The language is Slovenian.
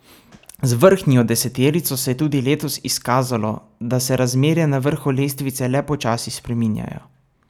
Z vrhnjo deseterico se je tudi letos izkazalo, da se razmere na vrhu lestvice le počasi spreminjajo.